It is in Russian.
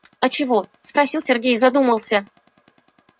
а чего спросил сергей и задумался